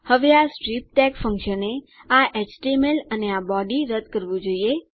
હવે આ strip tag ફંક્શને આ એચટીએમએલ અને આ બોડી રદ કરવું જોઈએ